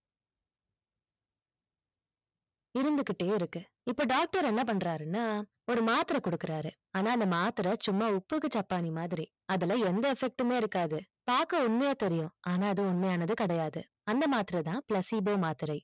இருந்துகிட்டே இருக்கு இப்போ doctor என்ன பண்றாருன்னா ஒரு மாத்திர குடுக்குறாரு ஆனா அந்த மாத்திர சும்மா ஒப்புக்கு சப்பாணி மாதிரி அதுல எந்த effect மே இருக்காது பாக்க உண்மையா தெரியும் ஆனா அது உண்மையானது கிடையாது, அந்த மாத்திர தான் placebo மாத்திரை